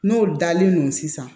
N'o dalen no sisan